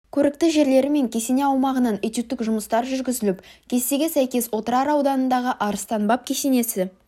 көрікті жерлері мен кесене аумағынан этюдтік жұмыстар жүргізіліп кестеге сәйкес отырар ауданындағы арыстан баб кесенесі